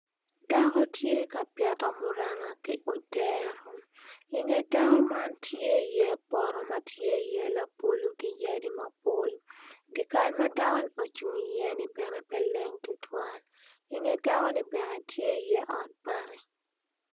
Dako tye ka pito muranga ki odero i nge dako man tye iye poto labolo ki yadi mapol dye kal ma dakoni ocung iye ni pe leng tutwal i nge dakoni tye iye ot bati.